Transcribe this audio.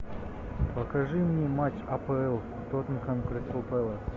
покажи мне матч апл тоттенхэм кристал пэлас